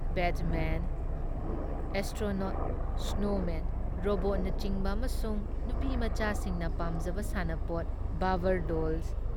batsman, astronaut, snowmen, ꯔꯣꯕꯣꯠꯅꯆꯤꯡꯕ ꯑꯃꯁꯨꯡ ꯅꯨꯄꯤꯃꯆꯥꯁꯤꯡꯅ ꯄꯥꯝꯖꯕ ꯁꯥꯟꯅꯄꯣꯠ ꯕꯥꯕꯔ ꯗꯣꯜꯁ,